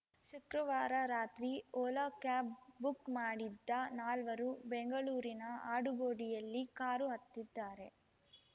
ಶುಕ್ರವಾರ ರಾತ್ರಿ Ola cab book ಮಾಡಿದ್ದ ನಾಲ್ವರು ಬೆಂಗಳೂರಿನ ಆಡುಗೋಡಿಯಲ್ಲಿ ಕಾರು ಹತ್ತಿದ್ದಾರೆ